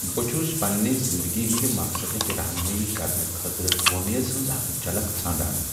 بہٕ چھس پنٛنہ زندگی ہنٛد مقصدٕچ رہنمٲیی کرنہٕ خٲطرٕ وۄمیز ہٕنٛز اکھ جھلک ژھانٛڈان۔